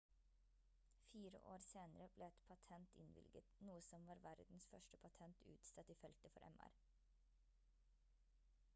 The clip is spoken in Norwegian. fire år senere ble et patent innvilget noe som var verdens første patent utstedt i feltet for mr